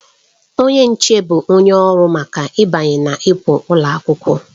Onye nche bụ onye ọrụ maka ịbanye na ịpụ ụlọ akwụkwọ.